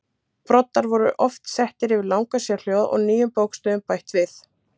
Broddar voru oft settir yfir langa sérhljóða og nýjum bókstöfum bætt við.